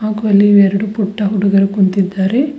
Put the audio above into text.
ಹಾಗೂ ಇಲ್ಲಿ ಎರಡು ಪುಟ್ಟ ಹುಡುಗರು ಕುಂತಿದ್ದಾರೆ.